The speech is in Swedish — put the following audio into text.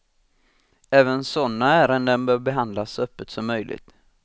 Även sådana ärenden bör behandlas så öppet som möjligt.